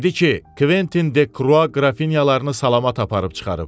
Dedi ki, Kventin de Krua Qrafinyalarını salamat aparıb çıxarıb.